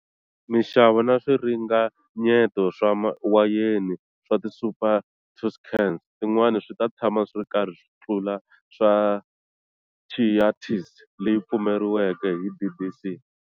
Minxavo na swiringanyeto swa wayeni swa ti Super Tuscans tin'wana swita tshama swiri karhi swi tlula swa Chiantis leyi pfumeleriweke hi DOC.